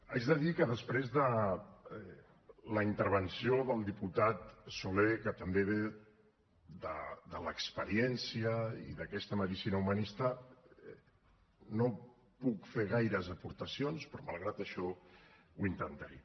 haig de dir que després de la intervenció del diputat soler que també ve de l’experiència i d’aquesta medicina humanista no puc fer gaires aportacions però malgrat això ho intentaré